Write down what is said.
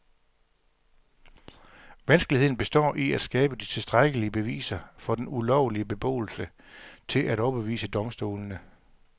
Vanskeligheden består i at skabe de tilstrækkelige beviser for den ulovlige beboelse til at overbevise domstolene.